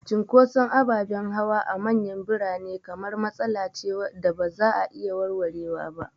Cunkoson ababen hawa a manyan birane kamar matsala ce da ba za a iya warwarewa ba.